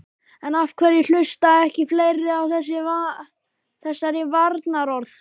En af hverju hlusta ekki fleiri á þessari varnarorð?